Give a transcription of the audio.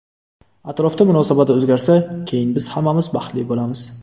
Atrofda munosabat o‘zgarsa, keyin biz hammamiz baxtli bo‘lamiz.